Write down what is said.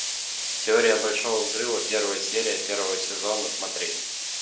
теория большого взрыва первая серия первого сезона смотреть